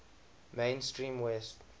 main stream west